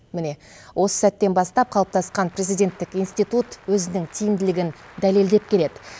міне осы сәттен бастап қалыптасқан президенттік институт өзінің тиімділігін дәлелдеп келеді